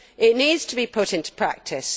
It needs to be put into practice.